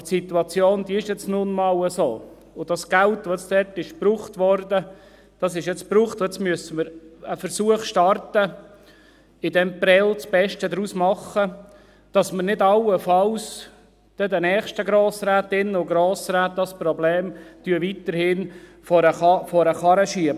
Aberdie Situation ist nun einmal so, und das Geld, das dort gebraucht wurde, ist nun aufgebraucht, und jetzt müssen wir einen Versuch starten, aus diesem Prêles das Beste zu machen, damit wir dieses Problem nicht allenfalls noch den nächsten Grossrätinnen und Grossräten weiterhin vor den Karren schieben.